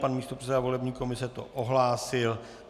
Pan místopředseda volební komise to ohlásil.